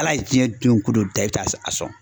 Ala ye jiyɛn don ko don dan i bi taa sɔn.